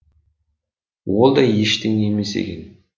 ол да ештеңе емес екен